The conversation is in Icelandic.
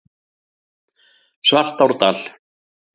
Svartárdal